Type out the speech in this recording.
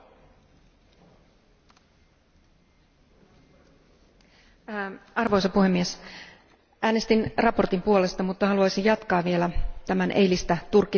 Arvoisa puhemies, äänestin mietinnön puolesta, mutta haluaisin jatkaa vielä eilistä Turkki teemaani ja selittää, miksi on erityisen tärkeää, että tämä mietintö meni läpi.